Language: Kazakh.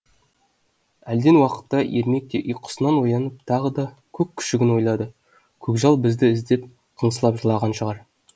әлден уақытта ермек те ұйқысынан оянып тағы да көк күшігін ойлады көкжал бізді іздеп қыңсылап жылаған шығар